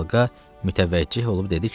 Və xalqa mütəvəcceh olub dedi ki: